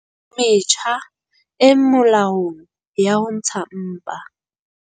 Metjha e molaong ya ho ntsha mpa